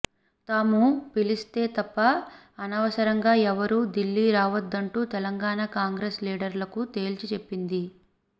తాము పిలిస్తే తప్ప అనవసరంగా ఎవరూ ఢిల్లీ రావొద్దంటూ తెలంగాణ కాంగ్రెస్ లీడర్లకు తేల్చి చెప్పింది